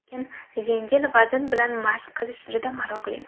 Lekin yengil vazn bilan mashq qilish juda maroqli.